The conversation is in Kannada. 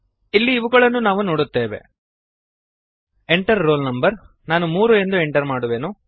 ಇಲ್ಲಿ ಇವುಗಳನ್ನು ನಾವು ನೋಡುತ್ತೇವೆ Enter ರೋಲ್ no ನಾನು 3 ನ್ನು ಎಂಟರ್ ಮಾಡುವೆನು